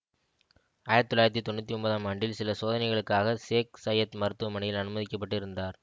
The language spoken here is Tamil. ஆயிரத்தி தொள்ளாயிரத்தி தொன்னூற்தி ஒன்பது ஆம் ஆண்டில் சில சோதனைகளுக்காக சேக் சயத் மருத்துவமனையில் அனுமதிக்க பட்டு இருந்தார்